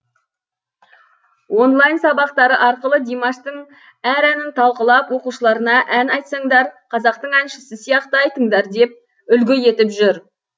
онлайн сабақтары арқылы димаштың әр әнін талқылап оқушыларына ән айтсаңдар қазақтың әншісі сияқты айтыңдар деп үлгі етіп жүр